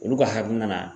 Olu ka hakili nana